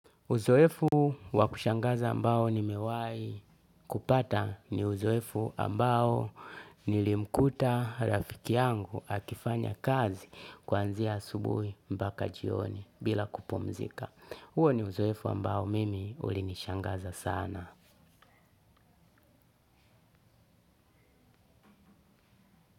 Uzoefu wa kushangaza ambao nimewahi kupata ni uzoefu ambao nilimkuta rafiki yangu akifanya kazi kuanzia asubuhi mpaka jioni bila kupumzika. Huo ni uzoefu ambao mimi ulinishangaza sana.